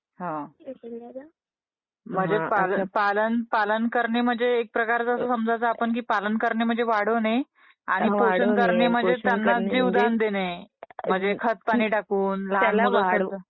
पालन .. पालन करणे म्हणजे एक प्रकारे आपण समजायच पालन करणे म्हणजे वाढवणे आणि पोषण करणे म्हणजे जीवदान देणे .. म्हणजे खतपाणी टाकून त्याला.. ping conversation